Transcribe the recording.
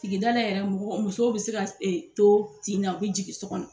Sigidala yɛrɛ mɔgɔ musow bɛ se ka to tin na, u bi jigin so kɔnɔ.